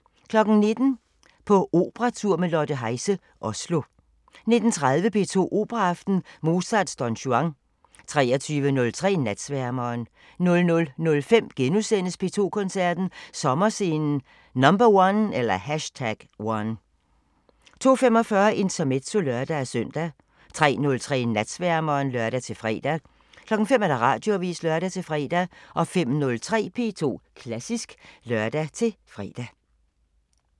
19:00: På operatur med Lotte Heise – Oslo 19:30: P2 Operaaften – Mozarts Don Juan 23:03: Natsværmeren 00:05: P2 Koncerten – Sommerscenen #1 * 02:45: Intermezzo (lør-søn) 03:03: Natsværmeren (lør-fre) 05:00: Radioavisen (lør-fre) 05:03: P2 Klassisk (lør-fre)